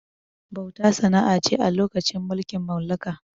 Bauta sana'a ce lokacin mulkin mallaka